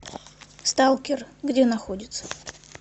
сталкер где находится